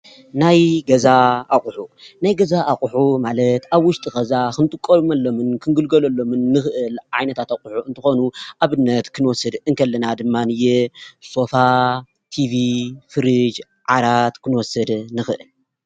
ናይ ገዛ ኣቁሑ ናይ ገዛ ኣቁሑ ማለት ኣብ ውሽጢ ገዛ ክንጥቀመሎምን ክንግልገለሎምን ንክእል ዓይነታት ኣቁሑ እንትኮኑ ኣብነት ክንወስድ እንከለና ድማንየ ሶፋ፣ ቲቪ፣ ፍሪጅ፣ ዓራት ክንወስድ ንክእል።